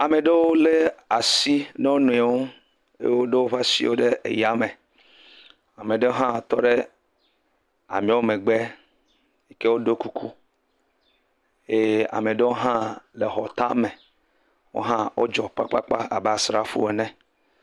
Ame ɖewo le asi ná wonɔewo eye wodo woƒe asiwò ɖe aya me. Ame ɖe hã tɔ ɖe ameawo megbe yike woɖoe kuku eye ame aɖewo hã xɔ tame, wodzi kpakpa abe asrafowo ene.